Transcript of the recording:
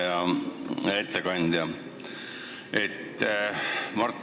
Hea ettekandja!